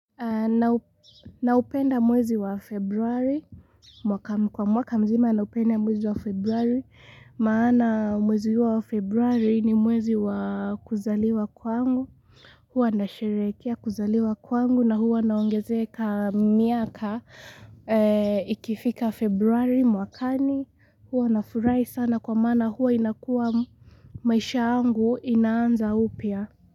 Na upenda mwezi wa februari, kwa mwaka mzima na upenda mwezi wa februari maana mwezi yu wa februari ni mwezi wa kuzaliwa kwangu huwa na sherekea kuzaliwa kwangu na huwa naongezeka miaka Ikifika februari mwakani, huwa na furai sana kwa maana huwa inakua maisha angu inaanza upya.